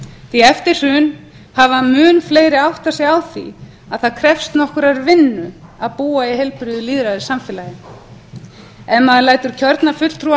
því eftir hrun hafa mun fleiri áttað sig á því að það krefst nokkurrar vinnu að búa í heilbrigðu lýðræðissamfélagi ef maður lætur kjörna fulltrúa